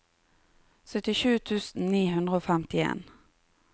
syttisju tusen ni hundre og femtien